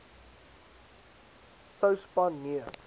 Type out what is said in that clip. sou span nee